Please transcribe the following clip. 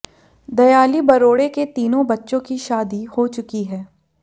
दयाली बरोड़े के तीनों बच्चों की शादी हो चुकी है